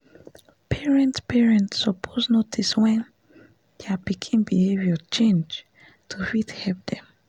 parent parent suppose notice wen dia pikin behavior change to fit help dem